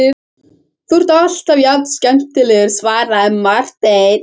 Þú ert alltaf jafn skemmtilegur, svaraði Marteinn.